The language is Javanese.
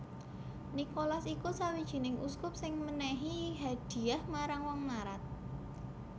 Nikolas iku sawijining uskup sing mènèhi hadhiah marang wong mlarat